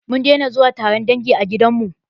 Mun daina zuwa taron dangi a gidanmu.